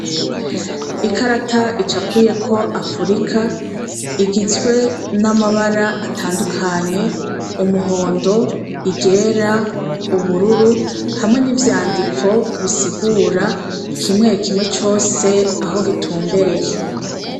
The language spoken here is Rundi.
Icumba c isomero kirimw' ikarat' icapuyeko Afurika, igizwe n' amabar' atandukanye, umuhondo, iryera n'ubururu hamwe n' ivyandiko bisigura kimwe kimwe cos' aho gitumbereye.